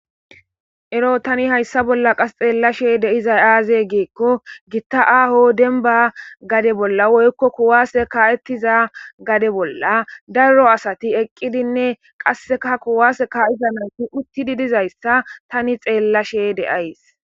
Eroo tani hayissa bolla xeelashshe de'izayi azee gikko Gita ahoo denniba gade bolla woyikko kuwase ka'ettiza gade bolla Daro asati eqqidinne qasekka kuwase ka'iza nayitt uttidi dizayissa tani xeelashshe de'ayiss.